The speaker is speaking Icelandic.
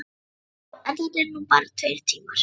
Já, en þetta eru nú bara tveir tímar.